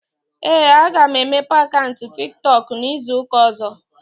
Ee, aga m emepe akaụnt Tik Tọk n'izuụka ọ̀zọ́.